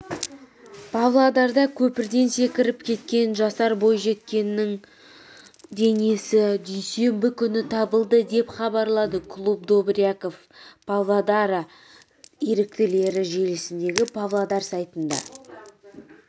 павлодарда көпірден секіріп кеткен жасар бойжеткеннің денесі дүйсенбі күні табылды деп хабарлады клуб добряков павлодара еріктілері желісіндегі павлодар сайтында